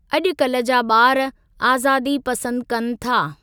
अॼुकल्ह जा ॿार आज़ादी पसंदि कनि था।